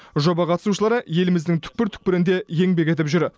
жоба қатысушылары еліміздің түкпір түкпірінде еңбек етіп жүр